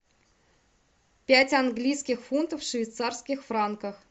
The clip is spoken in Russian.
пять английских фунтов в швейцарских франках